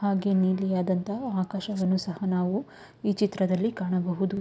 ಹಾಗೆ ನೀಲಿಯಾದಂತಹ ಆಕಾಶವನ್ನು ಸಹ ನಾವು ಈ ಚಿತ್ರದಲ್ಲಿ ಕಾಣಬಹುದು.